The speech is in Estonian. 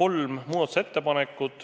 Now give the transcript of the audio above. kolm muudatusettepanekut.